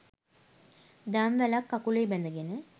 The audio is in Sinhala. දම්වැලක්‌ කකුලේ බැඳගෙන